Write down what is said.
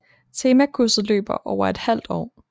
Temakurset løber over et halvt år